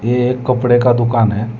ये एक कपड़े का दुकान है।